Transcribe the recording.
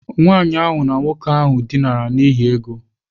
Nwanyị ahụ na nwoke ahụ dinara n'ihi ego.